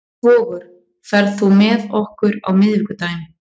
Vogur, ferð þú með okkur á miðvikudaginn?